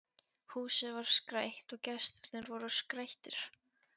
Húsið var skreytt og gestirnir voru skreyttir.